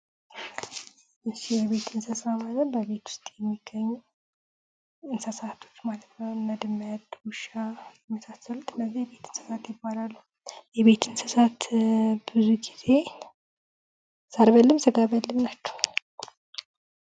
የቤት እንሰሳት ማለት በቤት ውስጥ የሚገኙ እንሰሳቶች ናቸው። እነድመት፣ ዉሻ እና የመሳስሉት እነዚህ የቤት እንሰሳት ይባላሉ። የቤት እንሰሳት ብዙ ግዜ ሳር በልም ስጋ በልም ናቸው።